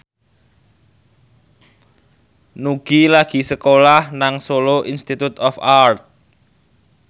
Nugie lagi sekolah nang Solo Institute of Art